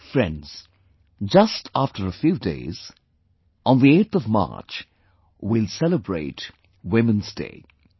Friends, just after a few days on the 8th of March, we will celebrate 'Women's Day'